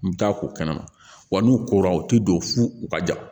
N bɛ taa o kɛnɛ ma wa n'u kora u tɛ don fu u ka ja